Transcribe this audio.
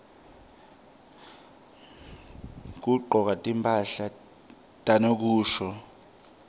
kugcoka timphahla tanokusho